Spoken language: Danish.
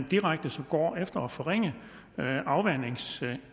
direkte går efter at forringe afvandingsevnen